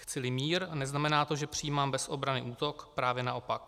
Chci-li mír, neznamená to, že přijímám bez obrany útok, právě naopak.